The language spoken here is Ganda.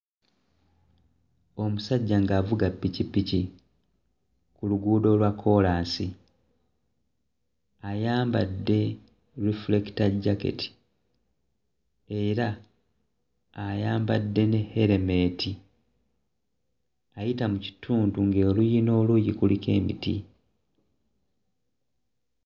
Omusajja ng'avuga pikipiki ku luguudo olwa kkoolaasi. Ayambadde "reflector jacket" era ayambadde ne elementi. Ayita mu kitundu ng'oluuyi n'oluuyi kuliko emiti.